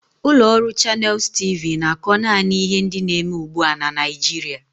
Ụlọ ọrụ Channels T.V na-akọ naanị ihe ndị na-eme ugbu a na Naịjirịa